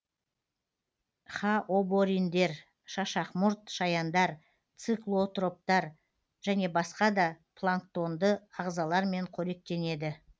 хаобориндер шашақмұрт шаяндар циклотроптар және басқада планктонды ағзалармен қоректенеді